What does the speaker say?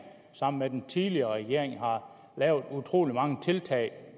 sammen med den tidligere regering har lavet utrolig mange tiltag